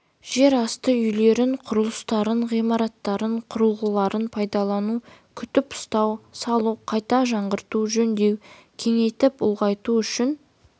жер асты үйлерін құрылыстарын ғимараттарын құрылғыларын пайдалану күтіп-ұстау салу қайта жаңғырту жөндеу кеңейтіп ұлғайту үшін